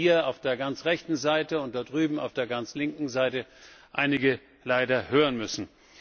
Wir haben ja hier auf der ganz rechten Seite und da drüben auf der ganz linken Seite einige leider hören müssen.